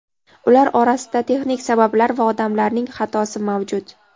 ular orasida texnik sabablar va odamlarning xatosi mavjud.